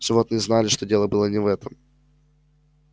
животные знали что дело было не в этом